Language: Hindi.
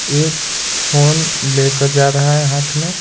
एक फोन लेकर जा रहा है हाथ में--